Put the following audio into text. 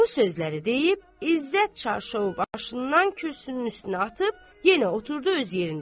Bu sözləri deyib İzzət çarşovu başından kürsünün üstünə atıb yenə oturdu öz yerində.